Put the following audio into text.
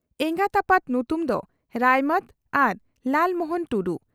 ᱮᱸᱜᱟᱛ ᱟᱯᱟᱛ ᱧᱩᱛᱩᱢ ᱫᱚ ᱨᱟᱭᱢᱟᱹᱛ ᱟᱨ ᱞᱟᱞᱢᱚᱦᱚᱱ ᱴᱩᱰᱩ ᱾